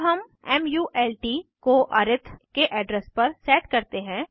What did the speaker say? अब हम मल्ट को अरिथ के एड्रेस पर सेट करते हैं